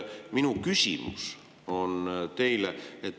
Minu küsimus on teile.